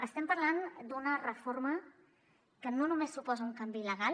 estem parlant d’una reforma que no només suposa un canvi legal